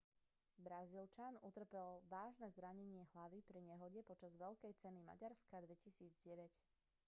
brazílčan utrpel vážne zranenie hlavy pri nehode počas veľkej ceny maďarska 2009